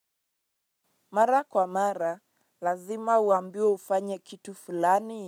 Mara kwa mara, lazima uambiwe ufanye kitu fulani.